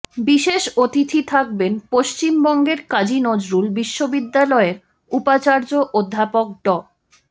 বিশেষ অতিথি থাকবেন পশ্চিমবঙ্গের কাজী নজরুল বিশ্ববিদ্যালয়ের উপাচার্য অধ্যাপক ড